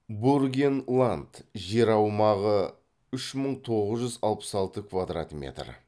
бургенланд жер аумағы үш мың тоғыз жүз алпыс алты квадрат метр